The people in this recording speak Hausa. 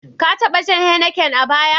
Ka taɓa shan Heineken a baya?